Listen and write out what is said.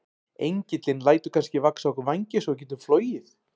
Engillinn lætur kannski vaxa á okkur vængi svo við getum flogið?